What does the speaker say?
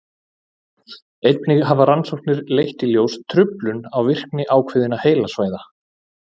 einnig hafa rannsóknir leitt í ljós truflun á virkni ákveðinna heilasvæða